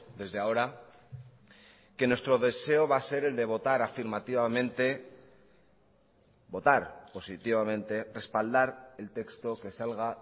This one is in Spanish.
desde ahora que nuestro deseo va a ser el de votar afirmativamente votar positivamente respaldar el texto que salga